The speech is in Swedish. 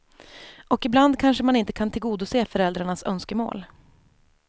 Och ibland kanske man inte kan tillgodose föräldrarnas önskemål.